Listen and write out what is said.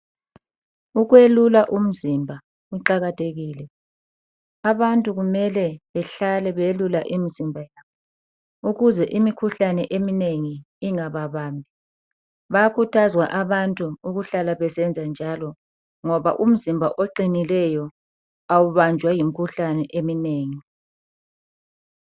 Ukwelula imzimba kuqakathekile. Abantu kumele bahlale beyelula imzimba ukuze imikhuhlane eminengi ingaba bambi. Bayakhuthazwa abantu ukuhlale besenza njalo. Ngoba umzimba oqinileyo awubanjwa yimkhuhlane eminengi.